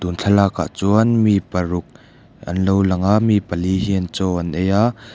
thlalakah chuan mi paruk an lo lang a mi pali hian chaw an ei a.